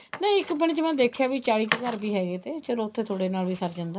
ਨਹੀਂ ਇੱਕ ਪਿੰਡ ਚ ਮੈਂ ਦੇਖਿਆ ਵੀ ਚਾਲੀ ਕ਼ ਘਰ ਵੀ ਹੈਗੇ ਤੇ ਚਲੋ ਉੱਥੇ ਥੋੜੇ ਨਾਲ ਵੀ ਸਰ ਜਾਂਦਾ ਹੈ